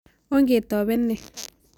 Ongetopen ni.